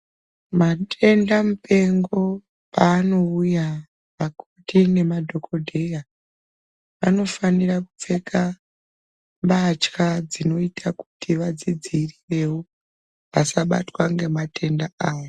Matenda mupengo paanouya makoti nemadhokodheya vanofanira kupfeka mbatya dzinoita kuti vazvidziirirewo vasabatwa ngematenda awo.